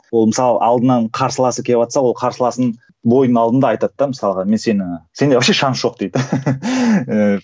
ол мысалы алдынан қарсыласы келіватса ол қарсыласын бойдың алдында айтады да мысалға мен сені сенде вообще шанс жоқ дейді